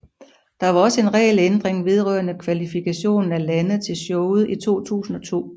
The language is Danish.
Der var også en regelændring vedrørende kvalifikationen af lande til showet i 2002